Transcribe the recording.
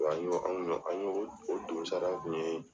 an y'o, an kun y'o, an ye o donsara kun ye